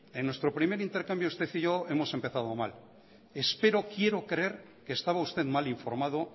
en nuestro primer intercambio usted y yo hemos empezado mal espero quiero creer que estaba usted mal informado